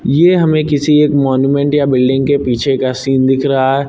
ये हमें किसी एक मोन्यूमेंट या बिल्डिंग के पीछे का सीन दिख रहा है।